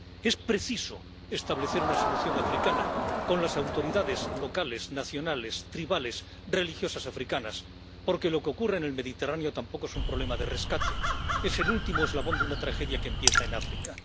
Es preciso establecer una solución africana con las autoridades locales, nacionales, tribales, religiosas africanas, porque lo que ocurre en el Mediterráneo tampoco es un problema de rescate, es el último eslabón de una tragedia que empieza en África.